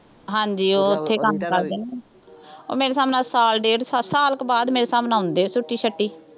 ਹਾਂਜੀ ਉਹ ਉੱਥੇ ਕੰਮ ਕਰਦੇ ਨੇ, ਉਹ ਮੇਰੇ ਹਿਸਾਬ ਨਾਲ ਸਾਲ ਡੇਢ ਸਾਲ ਸਾਲ ਕੁ ਬਾਅਦ ਮੇਰੇ ਹਿਸਾਬ ਨਾਲ ਆਉਂਦੇ ਛੁੱਟੀ ਛਾਟੀ